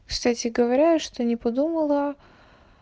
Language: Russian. кстати говоря что не подумала